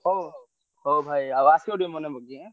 ହଉ ହଉ ଭାଇ ଆଉ ଆସିବ ଟିକେ ମନେପକେଇକି ଆଁ।